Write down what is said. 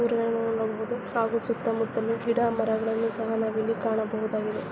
ಬರುವುದು ಹಾಗೂ ಸುತ್ತಮುತ್ತಲ ಗಿಡಮರಗಳನ್ನೂ ಸಹ ನಾವ್ ಇಲ್ಲಿ ಕಾಣಬಹುದಾಗಿದೆ .